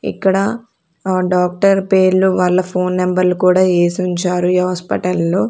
ఇక్కడ ఆ డాక్టర్ పేర్లు వాళ్ళ ఫోన్ నెంబర్లు కూడా ఏసి ఉంచారు ఈ హాస్పిటల్ లో.